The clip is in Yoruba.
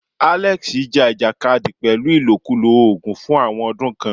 Alex ja ìjàkadì pẹ̀lú ìlòkulò oògùn fún àwọn ọdún kan.